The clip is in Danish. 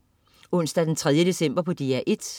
Onsdag den 3. december - DR1: